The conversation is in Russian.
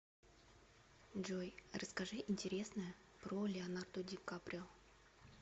джой расскажи интересное про леонардо ди каприо